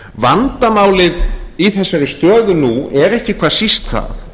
vandamálið í þessari stöðu nú er ekki hvað síst það